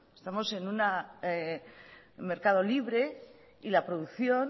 estamos en un mercado libre y la producción